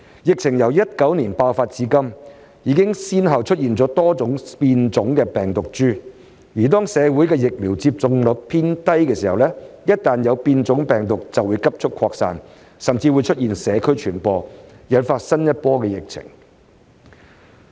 疫情由2019年爆發至今，已先後出現多種新的變種病毒株，而當社會的疫苗接種率偏低時，一旦有變種病毒就會急速擴散，甚或出現社區傳播，引發新一波疫情。